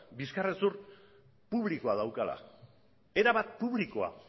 bizkar hezur publikoa daukala erabat publikoa